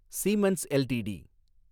siemens LTD